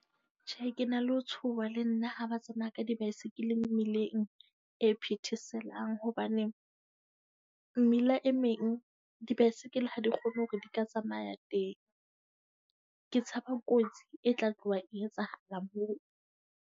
Tjhe, ke na le ho tshoha le nna ha ba tsamaya ka dibaesekele mmileng e phetheselang. Hobane mmila e meng di-bicycle ha di kgone hore di ka tsamaya teng. Ke tshaba kotsi e tla tloha e etsahala moo.